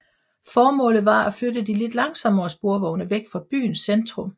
Formålet var at flytte de lidt langsommere sporvogne væk fra byens centrum